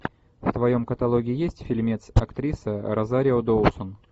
в твоем каталоге есть фильмец актриса розарио доусон